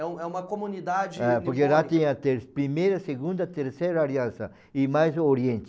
É um é uma comunidade... É, porque lá trinha teve a primeira, a segunda, a terceira aliança e mais o Oriente.